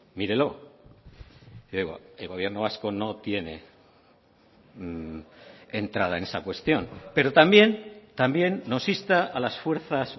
mírelo el gobierno vasco no tiene entrada en esa cuestión pero también también nos insta a las fuerzas